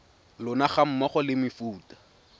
lona ga mmogo le mefuta